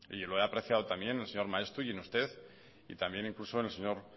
y lo he apreciado también en el señor maeztu y en usted y también incluso en el señor